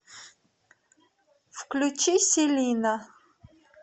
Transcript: включи селина